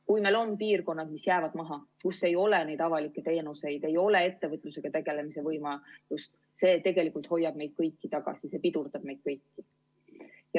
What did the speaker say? Kui meil on piirkonnad, mis jäävad maha ja kus ei ole neid avalikke teenuseid ega ettevõtlusega tegelemise võimalust, siis see tegelikult hoiab meid kõiki tagasi, see pidurdab meid kõiki.